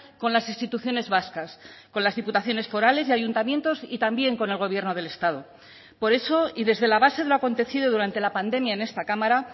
con las instituciones vascas con las diputaciones forales y ayuntamientos y también con el gobierno del estado por eso y desde la base de lo acontecido durante la pandemia en esta cámara